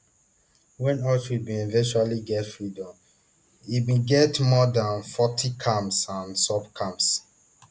wen auschwitz bin eventually get freedom e bin get more dan forty camps and sub camps